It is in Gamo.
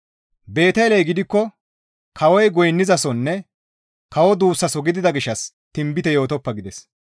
Beeteley gidikko kawoy goynnizasonne kawo duussaso gidida gishshas tinbite yootoppa» gides.